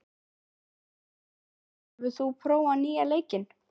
Rúdólf, hefur þú prófað nýja leikinn?